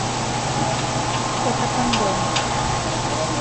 фото пандора